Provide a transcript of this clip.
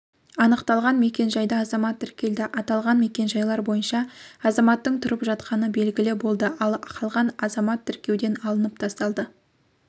анықталған мекен жайда азамат тіркелді аталған мекен жайлар бойынша азаматтың тұрып жатқаны белгілі болды ал қалған азамат тіркеуден алынып тасталды